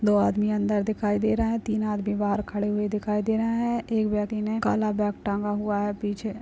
दो आदमी अंदर दिखाई दे रहा है तीन आदमी बाहर खड़े हुए दिखाई दे रहा है एक व्यक्ति ने काला बैग टांगा हुआ है। पीछे --